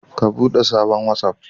Ka bude sabon watsaf